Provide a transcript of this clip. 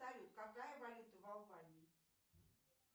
салют какая валюта в албании